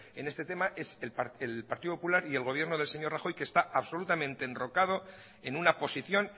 en este tema es el partido popular y el gobierno del señor rajoy que está absolutamente enrocado en una posición